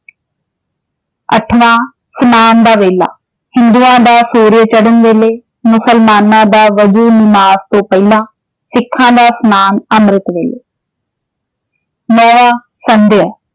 ਅੱਠਵਾਂ, ਸਨਾਨ ਦਾ ਵੇਲਾ ਹਿੰਦੂਆਂ ਦਾ ਸੂਰਜ ਚੜਨ ਵੇਲੇ ਮੁਸਲਮਾਨਾਂ ਦਾ ਨਮਾਜ਼ ਤੋਂ ਪਹਿਲਾਂ, ਸਿੱਖਾਂ ਦਾ ਸਨਾਨ ਅੰਮ੍ਰਿਤ ਵੇਲੇ ਸੰਧਿਆ